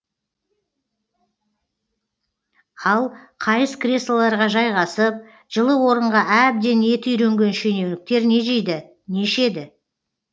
ал қайыс креслоларға жайғасып жылы орынға әбден еті үйренген шенеуніктер не жейді не ішеді